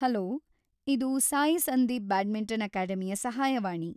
Hello! ಇದು Sai Sandeep badminton ಅಕಾಡೆಮಿಯ ಸಹಾಯವಾಣಿ.